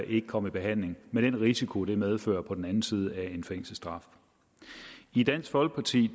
ikke komme i behandling med den risiko det medfører på den anden side af en fængselsstraf i dansk folkeparti